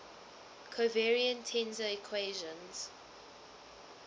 covariant tensor equations